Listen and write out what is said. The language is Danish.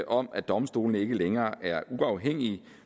om at domstolene ikke længere er uafhængige